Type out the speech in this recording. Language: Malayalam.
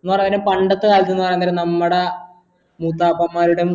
എന്ന് പറഞ്ഞാ പണ്ടത്തെ കാലത്ത് നമ്മട മൂത്തപ്പന്മാരുടെ